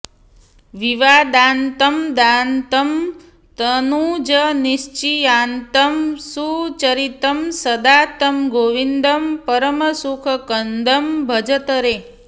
विवादान्तं दान्तं दनुजनिचयान्तं सुचरितं सदा तं गोविन्दं परमसुखकन्दं भजत रे